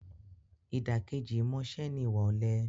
Ìdàkejì ìmọ̀ọ́ṣe ni ìwà ọ̀lẹ.